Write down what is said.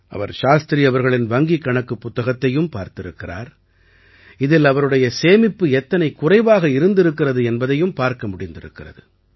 அவர் சாஸ்திரி அவர்களின் வங்கிக் கணக்குப் புத்தகத்தையும் பார்த்திருக்கிறார் இதில் அவருடைய சேமிப்பு எத்தனை குறைவாக இருந்திருக்கிறது என்பதையும் பார்க்க முடிந்திருக்கிறது